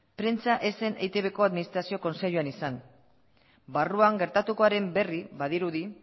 prentsa ez zen eitbko administrazio kontseiluan izan barruan gertatukoaren berri badirudi